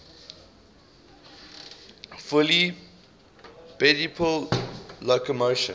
fully bipedal locomotion